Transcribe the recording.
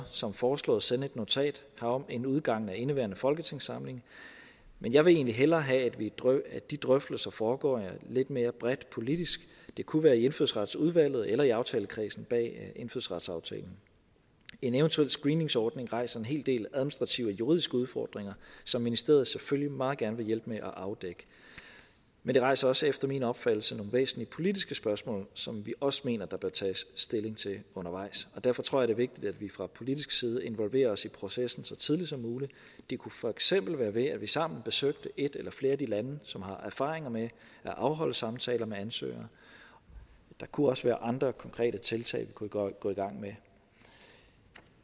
som foreslået sende et notat herom inden udgangen af indeværende folketingssamling men jeg vil egentlig hellere have at de drøftelser foregår lidt mere bredt politisk det kunne være i indfødsretsudvalget eller i aftalekredsen bag indfødsretsaftalen en eventuel screeningsordning rejser en hel del administrative og juridiske udfordringer som ministeriet selvfølgelig meget gerne vil hjælpe med at afdække men det rejser også efter min opfattelse nogle væsentlige politiske spørgsmål som vi også mener der bør tage stilling til undervejs derfor tror jeg vigtigt at vi fra politisk side involverer os i processen så tidligt som muligt det kunne for eksempel være ved at vi sammen besøgte et eller flere af de lande som har erfaringer med at afholde samtaler med ansøgere der kunne også være andre konkrete tiltag vi kunne gå i gang med